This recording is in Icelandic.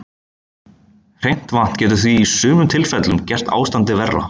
Hreint vatn getur því í sumum tilfellum gert ástandið verra.